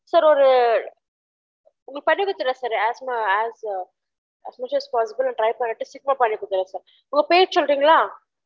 Sir ஒரு உங்களுக்கு பண்ணி குடுத்துடுறன் sir as soon as possible try பண்ணிட்டு சீக்கிரம் பண்ணி குடுத்துடுறன் sir உங்க பேர் சொல்றீங்களா